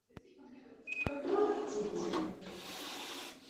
как малые дети